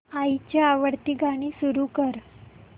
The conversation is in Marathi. आईची आवडती गाणी सुरू कर